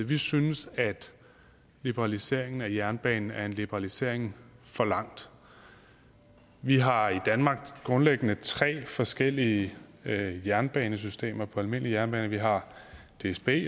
vi synes at liberaliseringen af jernbanen er en liberalisering for langt vi har i danmark grundlæggende tre forskellige jernbanesystemer på almindelige jernbaner vi har dsb